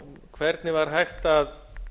hvernig var hægt að